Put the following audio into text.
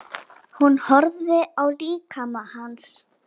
Hún horfði á líkama hans.